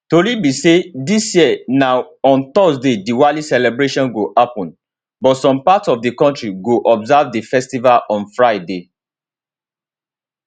tori be say dis year na on thursday diwali celebration go happun but some parts of di kontri go observe di festival on friday